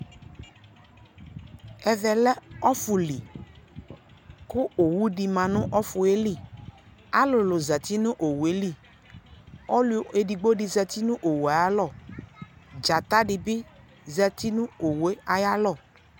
ɛvɛ lɛ ɔƒʋli kʋ ɔwʋ di manʋ ɔƒʋɛli, alʋlʋ zati nʋ ɔwʋɛli, ɔlʋ ɛdigbɔ di zati nʋ ɔwʋɛ alɔ, dzata dibi zati nʋ ɔwʋɛ ayialɔ